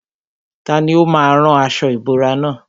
Tani ó má a rán aṣọ ìbora nà?